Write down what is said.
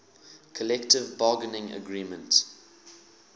collective bargaining agreement